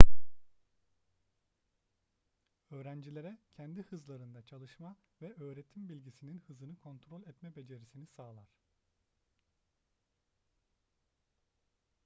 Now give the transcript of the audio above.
öğrencilere kendi hızlarında çalışma ve öğretim bilgisinin hızını kontrol etme becerisini sağlar